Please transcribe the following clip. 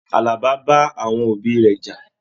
Àlàbá bá àwọn òbí rẹ já.